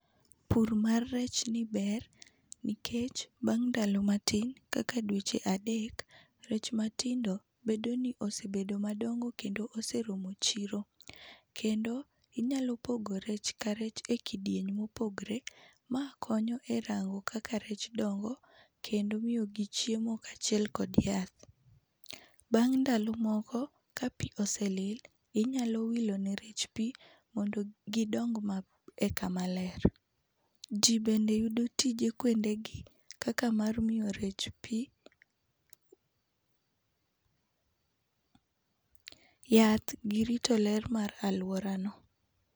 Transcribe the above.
Pur mar rechni ber nikech bang' ndalo matin kaka dweche adek rech matindo bedoni osebedo madongo kendo oseromo chiro. Kendo inyalo pogo rech karech e ekidieny mopogre. Ma konyo erango kaka rech dongo kendo miyogi chiemo kaachiel kod yath. Bang' ndalo moko, kapi osee lil, inyalo wilo ne rech pii mondo gidong e kama ler. Ji bende yudo tije kuondegi kaka mar miyo rech pii , pause yath girito ler mar aluorano.